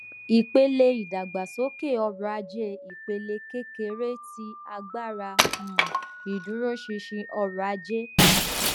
ipele idagbasoke ọrọaje ipele kekere ti agbara um ìdúróṣinṣin ọrọaje